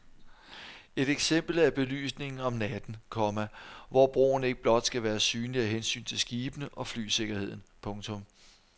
Et eksempel er belysningen om natten, komma hvor broen ikke blot skal være synlig af hensyn til skibene og flysikkerheden. punktum